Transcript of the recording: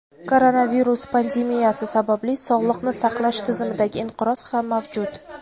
koronavirus pandemiyasi sababli sog‘liqni saqlash tizimidagi inqiroz ham mavjud.